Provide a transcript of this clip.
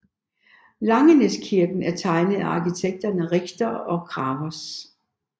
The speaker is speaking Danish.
Langenæskirken er tegnet af arkitekterne Richter og Gravers